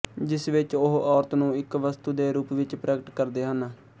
ਜਿਸ ਵਿੱਚ ਉਹ ਔਰਤ ਨੂੰ ਇੱਕ ਵਸਤੂ ਦੇ ਰੂਪ ਵਿੱਚ ਪ੍ਰਗਟ ਕਰਦੇ ਹਨ